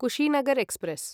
Kushinagar express